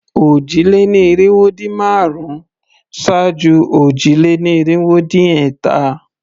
Òjì-lé-ní-irinwó-dín-márùn-ún ṣáájú òjì-lé-ní-irinwó-dín-ẹ̀ta.